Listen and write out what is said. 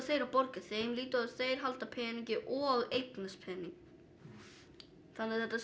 þeir að borga þeim lítið og halda peningi og eignast pening þannig að þetta